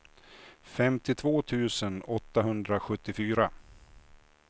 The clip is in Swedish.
femtiotvå tusen åttahundrasjuttiofyra